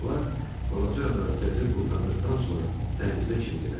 Onlar balaca adanı gəzib qurtardıqdan sonra dənizdə çimdilər.